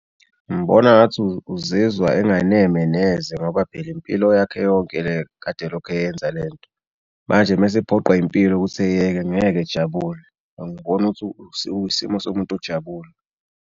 Ngibona ngathi uzizwa enganeme neze ngoba phela impilo yakhe yonke le kade eyenza le nto. Manje mase ephoqwa impilo ukuthi eyeke ngeke ejabule. Ngibona ukuthi isimo somuntu ojabule.